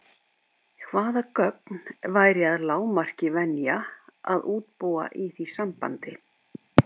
Hvaða gögn væri að lágmarki venja að útbúa í því sambandi?